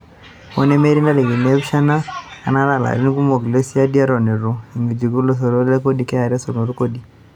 Hoo nemetii ntarikini empisha, enaata aa larini kumok le siadi eton etu itangejuk lasotok le kodi (KRA) esotunoto e kodi.